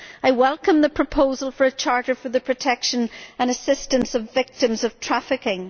I welcome the proposal for a charter for the protection and assistance of victims of trafficking.